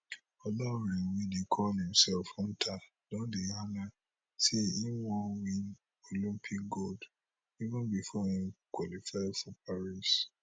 olaore wey dey call imself hunter don dey yarn say im wan win olympic gold even bifor im qualify for paris